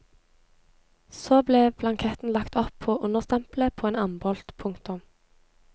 Så ble blanketten lagt oppå understempelet på en ambolt. punktum